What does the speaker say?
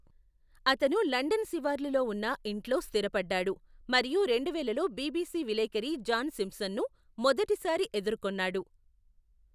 అతను లండన్ శివార్లులో ఉన్న ఇంట్లో స్థిరపడ్డాడు మరియు రెండువేలలో బిబిసి విలేఖరి జాన్ సింప్సన్ను మొదటిసారి ఎదుర్కొన్నాడు.